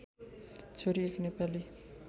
छोरी एक नेपाली